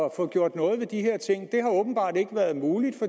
at få gjort noget ved de her ting det har åbenbart ikke været muligt